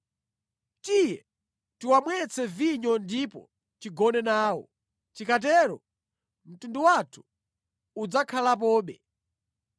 Tiye tiwamwetse vinyo ndipo tigone nawo. Tikatero mtundu wathu udzakhalapobe.”